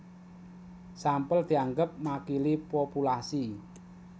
Sampel dianggep makili populasi